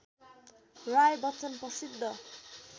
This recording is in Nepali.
राय बच्चन प्रसिद्ध